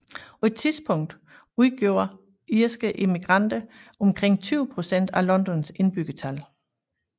På et tidspunkt udgjorde irske immigranter omkring 20 procent af Londons indbyggertal